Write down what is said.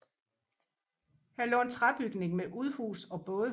Her lå en træbygning med udhus og bådehus